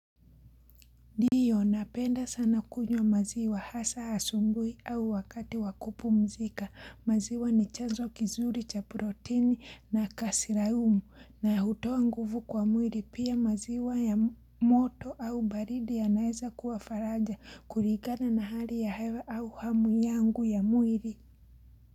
Ndio, napenda sana kunywa maziwa hasa asubuhi au wakati wa kupumzika. Maziwa ni chanzo kizuri cha proteini na kasirayumu na hutoa nguvu kwa mwili, pia maziwa ya moto au baridi yanaweza kuwa faraja kulingana na hali ya hewa au hamu yangu ya mwili.